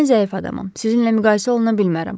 Mən zəif adamam, sizinlə müqayisə oluna bilmərəm.